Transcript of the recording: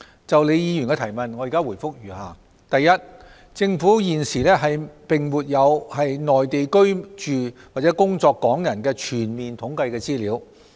就李議員的質詢，我現答覆如下：一政府現時並沒有在內地居住或工作港人的全面統計資料。